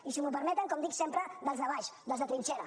i si m’ho permeten com dic sempre dels de baix dels de trinxera